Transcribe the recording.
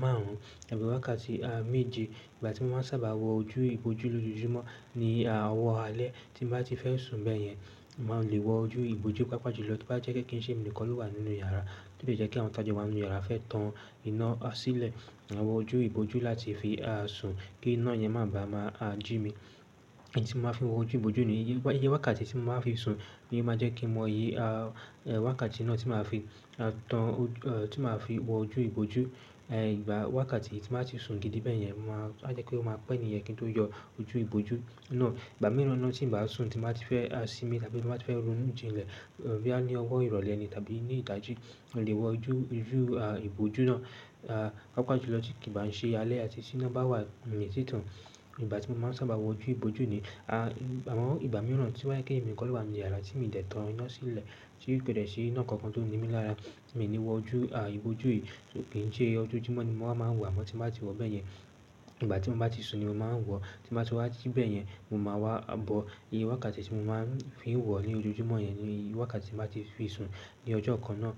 márùn ún tàbí wákàtí méje. Ìgbà tí mo ma ń sábà wọ ojú ìbòjú lójoojúmọ́ ni owọ̀ alẹ́ tí bá ti fẹ́ sùn bẹ́ẹ̀ yẹn, mo má lè wọ ojú ìbòjú pàápàá jùlọ tí ó bá jẹ́ pé kí n ṣe mi nìkan ló wà nínú yàrá. O le jẹ́ kí àwọn tajo wà nínú yàrá fẹ́ tan iná sílẹ̀, maa wọ ojú ìbòjú láti fi sùn kí iná yẹn má bàá máa a jí mi. Èyí tí mo máa ń fi wọ ojú ìbòjú ní ìyè wákàtí tí mo máa ń fi sun ni ó máa jẹ́ kí mo iye wákàtí naa tí màá fi tí màá fi wọ ojú ìbòjú. Ìgbà wákàtí tí màá ti sun gidi bẹ́ẹ̀ yẹn, màá jẹ́ pé ó máa pẹ́ niyen kí n tó yọ ojú ìbòjú náà. Ìgbà mìíràn naa tí n bá sùn tí màá ti fẹ́ sinmi tàbí tí bá ti fẹ́ ronú jinlẹ̀. Boyà ní ọwọ́ ìrọ̀lẹ́ ni tàbí ní ìdájí, mo lè wọ ojú ìbòjú náà pàápàá jùlọ tí kì bá n ṣe alẹ́ àti tí iná bá wà ni tìtàn. Ìgbà tí mo máa ń sun bà wọ ojú òjú mi àmọ ìgbà mìíràn tí o ba je pe èmi nìkan ló wà nu yàrá tí mi dẹ̀ tan iná sílẹ̀ tí kò dẹ́ ṣi iná kankan tó n ní mi lára, mì ní wọ ojú ìbòjú yìí. Kì í sẹ́ ọjọ́ọjúmọ́ ni mo máa ń wọ̀, àmọ́ tí bá ti wọ̀ bẹ́ẹ̀ yẹn, ìgbà tí mo bá ti sun ni mo máa ń wọ̀. Tí mo bá ti wá ji bẹ̀ yẹn, ni máa wá bọ́ ìyè wákàtí tí mo máa ń fi wọ̀ ní ojoojúmọ́ yẹn ni wákàtí tí màá ti fi sun ní ọjọ́ kan náà.